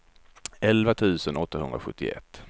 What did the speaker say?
elva tusen åttahundrasjuttioett